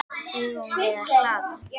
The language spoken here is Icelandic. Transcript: Eigum við að hlaða?